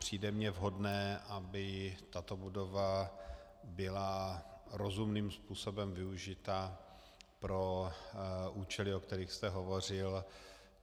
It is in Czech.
Přijde mi vhodné, aby tato budova byla rozumným způsobem využita pro účely, o kterých jste hovořil.